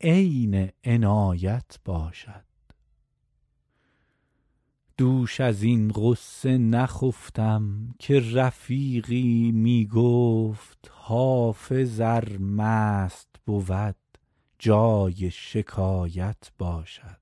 عین عنایت باشد دوش از این غصه نخفتم که رفیقی می گفت حافظ ار مست بود جای شکایت باشد